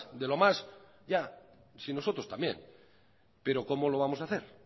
de lo más ya si nosotros también pero cómo lo vamos a hacer